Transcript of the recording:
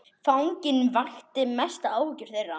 Fanginn vakti mestan áhuga þeirra.